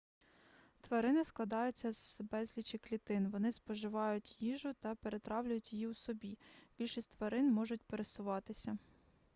тварини складаються з безлічі клітин вони споживають їжу та перетравлюють її у собі більшість тварин можуть пересуватися